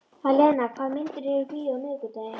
Alena, hvaða myndir eru í bíó á miðvikudaginn?